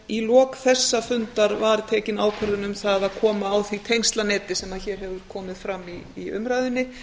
í lok þessa fundar var tekin ákvörðun um það að koma á því tengslaneti sem hér hefur komið fram í umræðunni